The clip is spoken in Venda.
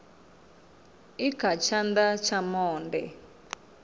i kha tshana tsha monde